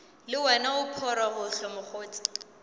le wena o phorogohlo mokgotse